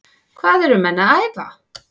Hvað eru menn að æfa?